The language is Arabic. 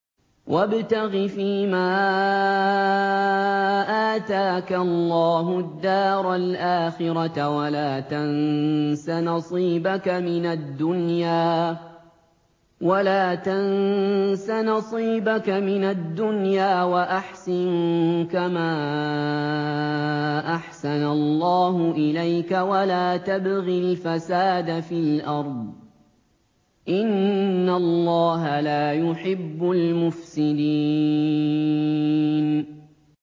وَابْتَغِ فِيمَا آتَاكَ اللَّهُ الدَّارَ الْآخِرَةَ ۖ وَلَا تَنسَ نَصِيبَكَ مِنَ الدُّنْيَا ۖ وَأَحْسِن كَمَا أَحْسَنَ اللَّهُ إِلَيْكَ ۖ وَلَا تَبْغِ الْفَسَادَ فِي الْأَرْضِ ۖ إِنَّ اللَّهَ لَا يُحِبُّ الْمُفْسِدِينَ